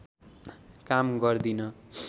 काम गर्दिन